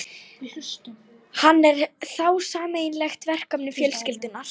Hann er þá sameiginlegt verkefni fjölskyldunnar.